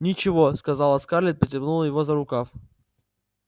ничего сказала скарлетт и потянула его за рукав